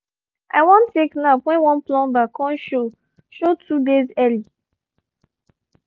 i wan take nap when one plumber con show show two days early